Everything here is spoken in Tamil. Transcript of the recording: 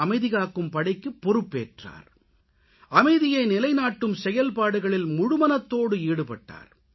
அமைதிகாக்கும் படைக்குப் பொறுப்பேற்றார் அமைதியை நிலைநாட்டும் செயல்பாடுகளில் முழுமனதோடு ஈடுபட்டார்